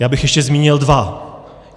Já bych ještě zmínil dva.